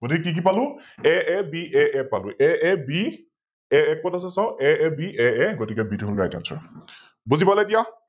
গতিকে কি কি পালো AABA পালো AAB AA কত আছে চাও AAAAA গতিকে B টো হল RightAnswer । বুজি পালে এতিয়া ।